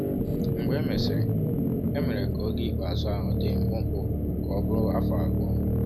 Mgbe e mesịrị, e mere ka oge ikpeazụ ahụ dị mkpụmkpụ ka ọ bụrụ afọ abụọ.